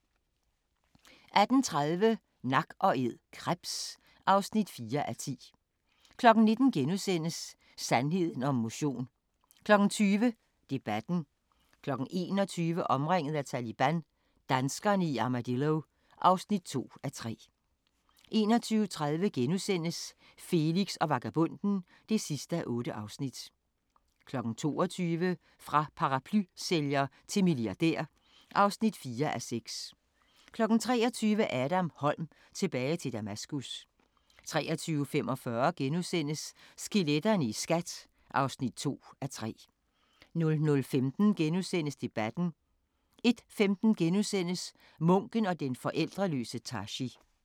18:30: Nak & æd – krebs (4:10) 19:00: Sandheden om motion * 20:00: Debatten 21:00: Omringet af Taliban – danskerne i Armadillo (2:3) 21:30: Felix og vagabonden (8:8)* 22:00: Fra paraplysælger til milliardær (4:6) 23:00: Adam Holm – Tilbage til Damaskus 23:45: Skeletterne i SKAT (2:3)* 00:15: Debatten * 01:15: Munken og den forældreløse Tashi *